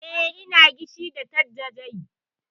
Eh, ina gishe da dattijai.